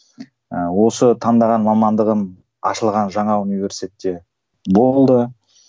ыыы осы таңдаған мамандығым ашылған жаңа университетте болды